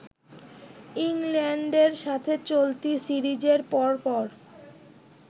ইংল্যান্ডের সাথে চলতি সিরিজের পর পর